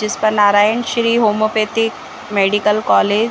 जिस पर Narayan Shri homeopathic medical college --